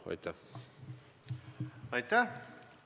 Aitäh!